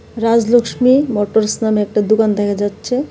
Rajlakshmi motors নামে একটা দোকান দেখা যাচ্ছে.